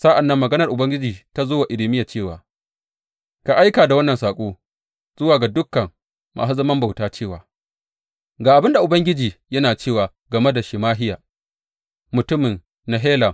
Sa’an nan maganar Ubangiji ta zo wa Irmiya cewa, Ka aika da wannan saƙo zuwa ga dukan masu zaman bauta cewa, Ga abin da Ubangiji yana cewa game da Shemahiya, mutumin Nehelam.